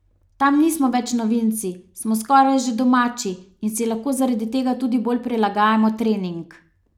Tam nismo več novinci, smo skoraj že domači in si lahko zaradi tega tudi bolj prilagajamo trening.